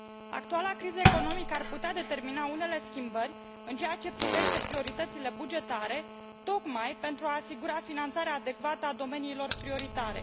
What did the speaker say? Actuala criză economică ar putea determina unele schimbări în ceea ce privește prioritățile bugetare, tocmai pentru a asigura finanțarea adecvată a domeniilor prioritare.